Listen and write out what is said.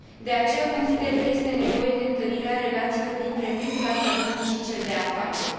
De aceea, consider că este nevoie de întărirea relațiilor dintre mediul academic și cel de afaceri.